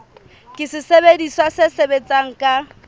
ke sesebediswa se sebetsang ka